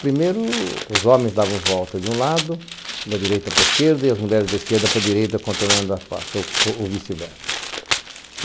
Primeiro, os homens davam volta de um lado, da direita para a esquerda, e as mulheres da esquerda para a direita, controlando a praça, ou ou vice-versa.